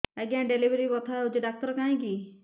ଆଜ୍ଞା ଡେଲିଭରି ବଥା ହଉଚି ଡାକ୍ତର କାହିଁ କି